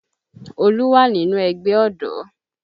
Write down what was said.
Olú wà nínú ẹgbẹ́ ọ̀dọ́